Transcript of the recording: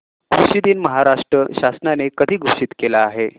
कृषि दिन महाराष्ट्र शासनाने कधी घोषित केला आहे